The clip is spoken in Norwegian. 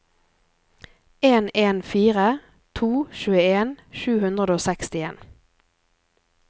en en fire to tjueen sju hundre og sekstien